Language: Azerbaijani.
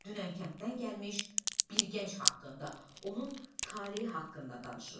Dünən kənddən gəlmiş bir gənc haqqında, onun taleyi haqqında danışırıq.